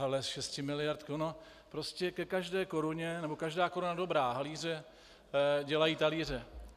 Ale 6 miliard - ono prostě ke každé koruně, nebo každá koruna dobrá, halíře dělají talíře.